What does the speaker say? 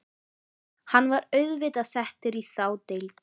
Hann var auðvitað settur í þá deild.